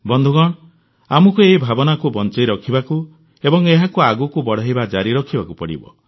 ବନ୍ଧୁଗଣ ଆମକୁ ଏହି ଭାବନାକୁ ବଂଚାଇ ରଖିବାକୁ ଏବଂ ଏହାକୁ ଆଗକୁ ବଢ଼ାଇବା ଜାରି ରଖିବାକୁ ପଡ଼ିବ